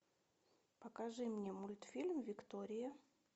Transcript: покажи мне мультфильм виктория